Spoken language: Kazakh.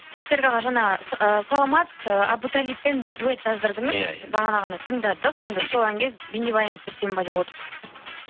серік аға жаңа ы саламат ы әбу талибпен дуэт жаздырдыңыз иә иә бағана ғана тыңдадық енді сол әнге бейнебаян түсірсем бе деп отырсыз